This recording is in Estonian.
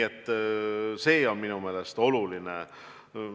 See on minu meelest oluline.